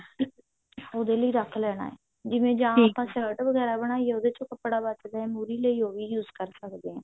ਉਹਦੇ ਲਈ ਰੱਖ ਲੈਣਾ ਹੈ ਜਿਵੇਂ ਆਪਾਂ shirt ਵਗੇਰਾ ਬਣਾਈ ਹੈ ਉਹਦੇ ਚੋਂ ਕੱਪੜਾ ਬਚਦਾ ਹੈ ਮੁਰ੍ਹੀ ਲਈ ਉਹ ਵੀ use ਕਰ ਸਕਦੇ ਹਾਂ